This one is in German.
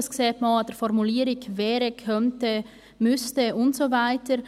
Dies sieht man auch an der Formulierung – «wäre», «könnte», «müsste» und so weiter.